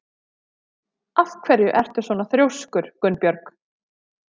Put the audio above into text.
Af hverju ertu svona þrjóskur, Gunnbjörg?